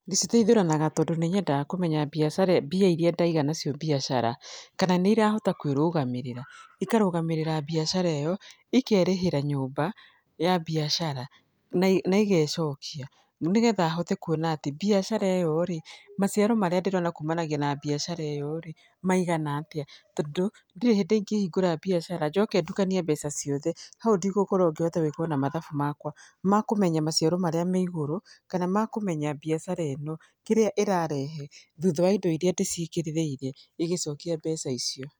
Ndĩciteithũranaga tondũ nĩ nyendaga kũmenya biacara mbia irĩa ndaiga nacio biacara kana nĩ irahota kwĩrũgamĩrĩa, ikarũgamĩrĩra biacara ĩyo, ikerĩhĩra nyũmba ya biacara, na na igecokia. Nĩgetha hote kuona atĩ biacara ĩyo rĩ, maciaro marĩa ndĩrona kumanagia na biacara ĩyo rĩ, maigana atĩa. Tondũ, ndirĩ hĩndĩ ingĩhingũra biacara, njoke ndukanie mbeca ciothe. Hau ndigũkorwo ngĩhota ona gwĩka mathabu makwa, ma kũmenya maciaro marĩa me igũrũ, kana ma kũmenya biacara ĩno kĩrĩa ĩrarehe thutha wa indo irĩa ndĩciigĩrĩrĩire igĩcokia mbeca icio.